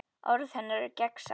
Orð hennar eru gegnsæ.